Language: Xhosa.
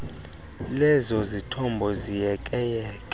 lezo zithombo ziyekeyeke